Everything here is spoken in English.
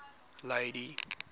lady